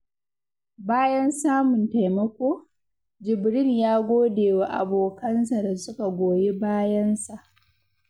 Bayan samun taimako, Jibrin ya gode wa abokansa da suka goyi bayansa.